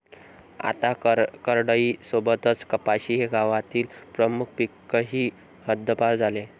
आता करडई सोबतच कपाशी हे गावातील प्रमुख पीकही हद्दपार झाले.